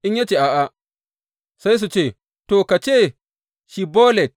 In ya ce, A’a, sai su ce, To, ka ce, Shibbolet.’